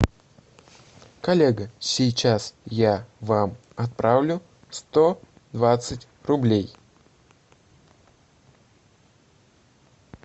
коллега сейчас я вам отправлю сто двадцать рублей